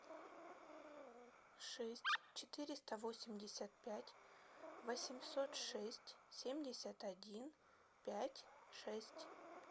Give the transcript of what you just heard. шесть четыреста восемьдесят пять восемьсот шесть семьдесят один пять шесть